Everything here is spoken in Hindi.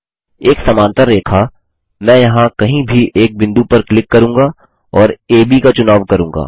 एक समानांतर रेखा मैं यहाँ कहीं भी एक बिंदु पर क्लिक करुँगा और एबी का चुनाव करूँगा